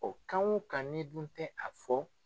kan wo kan ni i dun tɛ a fɔ.